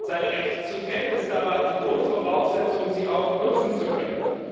Seine Rechte zu kennen, ist aber die Grundvoraussetzung, sie auch nutzen zu können.